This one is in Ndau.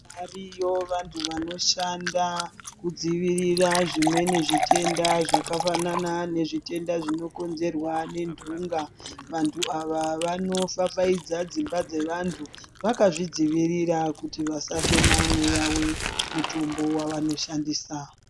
Variyo vantu vanoshanda kudzivirira zvimweni zvitenda zvakafanana nezvitenda zvinokonzerwa ngentunga. Vantu ava vanofafaidza dzimba dzevantu vakazvidzivirira kuti vasafema mweya wemutombo wavanoshandisa.